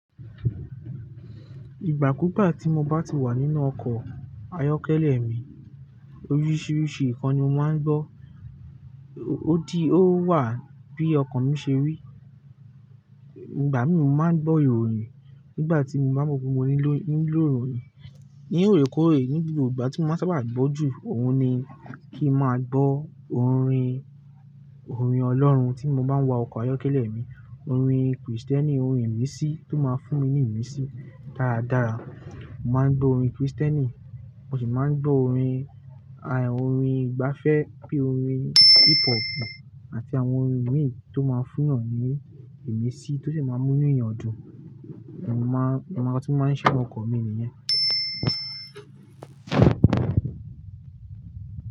Ìgbàkúgbà tí mo bá ti wà nínú ọkọ̀ ayọ́kẹ́lẹ́ mi, oríṣiríṣi nǹkan ni mo máa ń gbọ́. Ó di ó wà bí ọkọ̀ mi ṣe rí. Ìgbà míì mo máa ń gbọ́ ìròyìn nígbà tí mo bá mọ pé mo nílò, nílò ìròyìn. Ní òrékóòrè, ní gbogbo ìgbà tí mo máa sábà n gbọ́ jù, òun ni kí n máa gbọ́ orin, orin Ọlọ́run tí mo bá ń wa ọkọ̀ ayọ́kẹ́lẹ́ mi. Orin Krìstẹ́nì, orin ìmísí tó máa ń fún mi ní ìmísí dáradára. Mo máa ń gbọ́ orin Krìstẹ́nì, mo sì máa ń gbọ́ orin, aì, orin ìgbafẹ́ bí i orin hip hopu àti àwọn orin mìíràn tó máa ń fún èèyàn ní ìmísí tó sì máa ń mú inú èèyàn dùn. Mo máa, nǹkan ti mo máa ń ṣe ọkọ̀ mi nìyen.